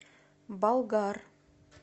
болгар